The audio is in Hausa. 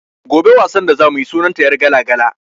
Gobe wasan da za mu yi sunan ta "yargala-gala".